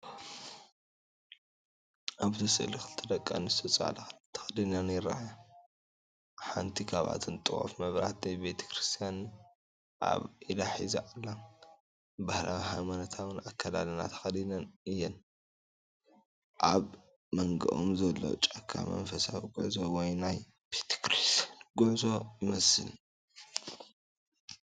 ኣብቲ ስእሊ ክልተ ደቂ ኣንስትዮ ፃዕዳ ክዳን ተከዲነንይርኣያ። ሓንቲ ካብኣተን ጥዋፍ መብራህቲ ቤተክርስትያን ኣብ ኢዳ ሒዛ ኣላ። ባህላውን ሃይማኖታውን ኣከዳድና ተኸዲነን እዮን። ኣብ መንጎኦም ዘሎ ጫካ መንፈሳዊ ጉዕዞ ወይ ናይ ቤተ ክርስቲያን ጉዕዞ ይመስል።